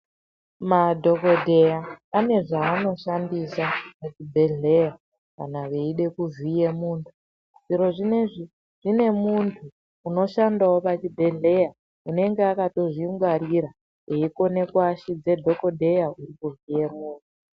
Madhokodheya ane zvaano shandisa muzvibhedhleya kana veide kuvhiye munhu. Zviro zvinezvi, zvine munhu unoshandawo pachibhedhleya unenga akato zvingwarira eikone kuashidze dhokodheya kuvhiye muntu.